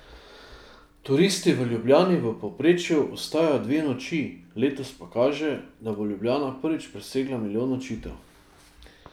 Turisti v Ljubljani v povprečju ostajajo dve noči, letos pa kaže, da bo Ljubljana prvič presegla milijon nočitev.